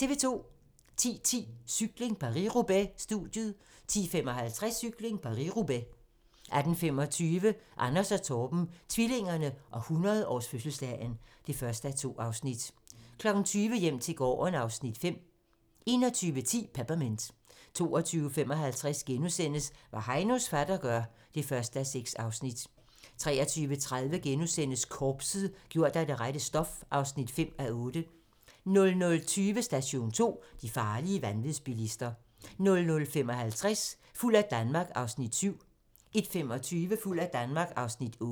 10:10: Cykling: Paris-Roubaix - studiet 10:55: Cykling: Paris-Roubaix 18:25: Anders & Torben - tvillingerne og 100-årsfødselsdagen (1:2) 20:00: Hjem til gården (Afs. 5) 21:10: Peppermint 22:55: Hvad Heinos fatter gør (1:6)* 23:30: Korpset - gjort af det rette stof (5:8)* 00:20: Station 2: De farlige vanvidsbilister 00:55: Fuld af Danmark (Afs. 7) 01:25: Fuld af Danmark (Afs. 8)